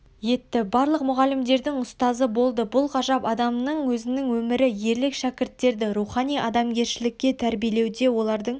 етті барлық мұғалімдердің ұстазы болды бұл ғажап адамның өзінің өмірі ерлік шәкірттерді рухани адамгершілікке тәрбиелеуде олардың